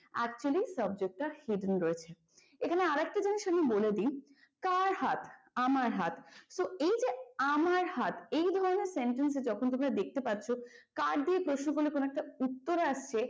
actually subject টা hidden রয়েছে এখানে আরেকটা জিনিষ আমি বলে দিই কার হাত আমার হাত তো এই যে আমার হাত এই ধরনের sentence এ যখন তোমরা দেখতে পাচ্ছ কার দিয়ে প্রশ্ন করলে কোন একটা উত্তর আসছে।